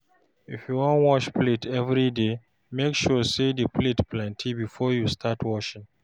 if yu wan wash plate evriday, mek sure say di plates plenti bifor yu start washing